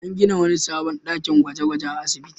An gina wani sabon dakin gwaje-gwaje a asibitin.